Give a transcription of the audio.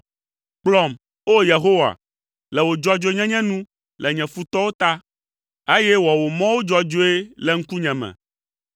Kplɔm, O! Yehowa, le wò dzɔdzɔenyenye nu le nye futɔwo ta, eye wɔ wò mɔwo dzɔdzɔe le ŋkunye me.